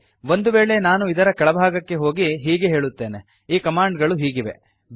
ಆಗಲಿ ಒಂದು ವೇಳೆ ನಾನು ಇದರ ಕೆಳಭಾಗಕ್ಕೆ ಹೋಗಿ ಹೀಗೆ ಹೇಳುತ್ತೇನೆ ಈ ಕಮಾಂಡ್ ಗಳು ಹೀಗಿವೆ